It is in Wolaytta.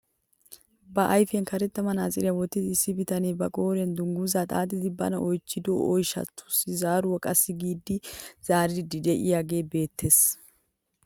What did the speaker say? Ba ayfiyaan karetta manatsiriyaa wottida issi bitanee ba qooriyaan dungguzaa xaaxidi bana oychchido oyshshaasi zaaruwaa qassi giidi zaaridi de'iyaagee beettees!